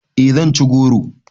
E zan ci goro